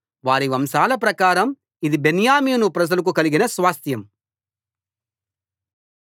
వారి వంశాల ప్రకారం ఇది బెన్యామీను ప్రజలకు కలిగిన స్వాస్థ్యం